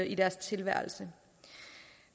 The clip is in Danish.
i deres tilværelse